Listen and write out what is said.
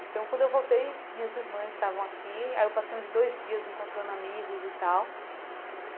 Então, quando eu voltei, minhas irmãs estavam aqui, aí eu passei uns dois dias encontrando amigos e tal.